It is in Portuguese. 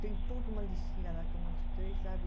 Tem toda uma listinha lá que eu mostrei, sabe?